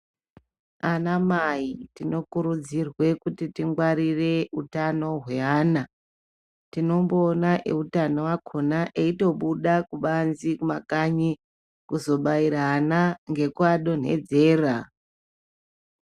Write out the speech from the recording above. Anamai tinokurudzirwe kuti tingwarire hutano gwe vana. Tinombowona ehutano wakhona eyitobuda kubanzi kumakanyi kuzobayira ana ngekuvadonhedzera.